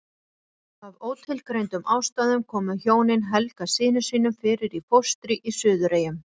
Af ótilgreindum ástæðum komu hjónin Helga syni sínum fyrir í fóstri í Suðureyjum.